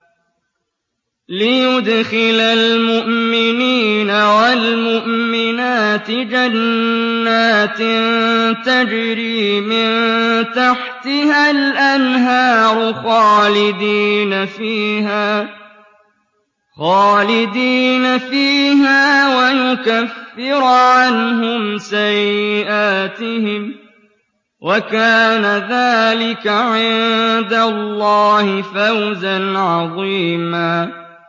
لِّيُدْخِلَ الْمُؤْمِنِينَ وَالْمُؤْمِنَاتِ جَنَّاتٍ تَجْرِي مِن تَحْتِهَا الْأَنْهَارُ خَالِدِينَ فِيهَا وَيُكَفِّرَ عَنْهُمْ سَيِّئَاتِهِمْ ۚ وَكَانَ ذَٰلِكَ عِندَ اللَّهِ فَوْزًا عَظِيمًا